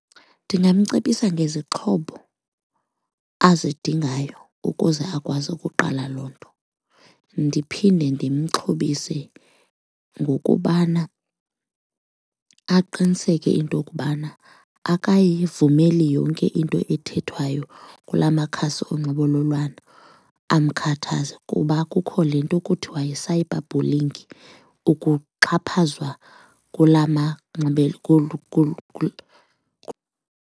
Ndingamcebisa ngezixhobo azidingayo ukuze akwazi ukuqala loo nto. Ndiphinde ndimxhobise ngokubana aqiniseke into kubana akayivumeli yonke into ethethwayo kula makhasi onxibelelwano amkhathaza kuba kukho le nto kuthiwa yi-cyberbulling, ukuxhaphazwa kula .